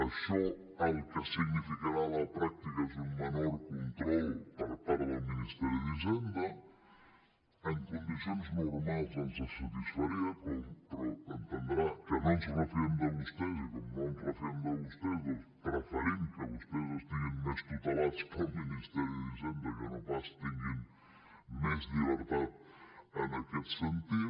això el que significarà a la pràctica és un menor control per part del ministeri d’hisenda en condicions normals ens satisfaria però entendrà que no ens refiem de vostès i com no ens refiem de vostès doncs preferim que vostè estiguin més tutelats pel ministeri d’hisenda que no pas que tinguin més llibertat en aquest sentit